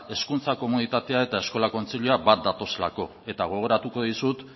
hezkuntza komunitatea eta eskola kontseilua bat datozelako eta gogoratuko dizut